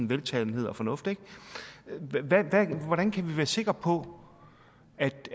veltalenhed og fornuft ikke hvordan kan vi være sikker på